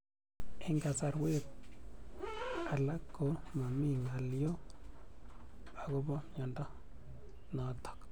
Eng'kasarwek alak ko mami ng'alyo akopo miondo notok